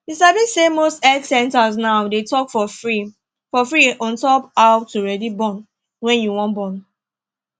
you sabi say most health centers now they talk for free for free ontop how to ready born wen you wan born